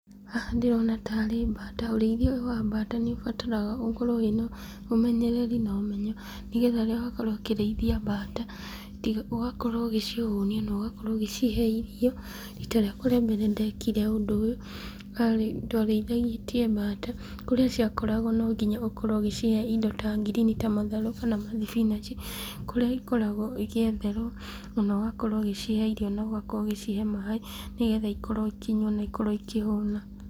Haha ndĩrona tarĩ mbata, ũrĩithia ũyũ wa mbata ũbataraga ũkorwo wĩna ũmenyereri na ũmenyo, nĩgetha rĩrĩa ũgakorwo ũkĩrĩithia mbata, ũgakorwo ũgĩcihũnia na ũgakorwo ũgĩcihe irio, rita rĩakwa rĩa mbere ndekire ũndũ ũyũ ndarĩ, twarĩithĩtie mbata kũrĩa ciakoragwo no nginya ũkorwo ũgĩcihe indo ta ngirini ta matharũ kana mathibinaci, kũrĩa ikoragwo igĩetherwo ũgakorwo ũgĩcihe irio na ũgakorwo ũgĩcihe maaĩ , nĩgetha ikorwo ikĩnyua na ikorwo ikĩhũna.